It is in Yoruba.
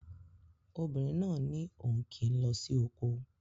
Obìnrin náà ní òun kì í lọ sí oko